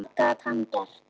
Hvað gat hann gert?